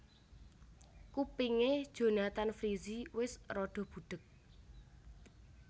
Kupinge Jonathan Frizzy wes rada budheg